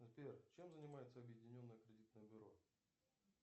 сбер чем занимается объединенное кредитное бюро